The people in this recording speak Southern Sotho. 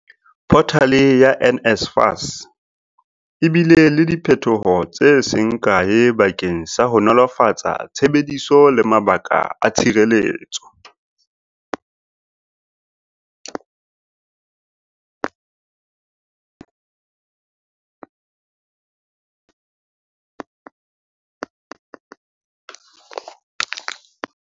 Photale ya NSFAS e bile le diphethoho tse seng kae bakeng sa ho nolofatsa tshebediso le mabaka a tshireletso.